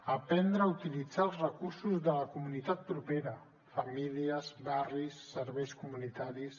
aprendre a utilitzar els recursos de la comunitat propera famílies barris serveis comunitaris